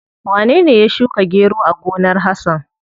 Wanene ya shuka gero a gonar Hasan?